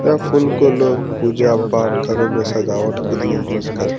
यह फूल को लोग पूजा-पाठ घरों में सजावट के लिए यूज़ कर --